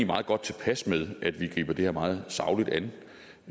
meget godt tilpas med at vi griber det her meget sagligt an